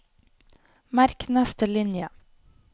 Merk neste linje